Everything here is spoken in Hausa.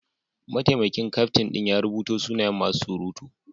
Mataimakin kyaftin din ya rubuta sunayen masu surutu.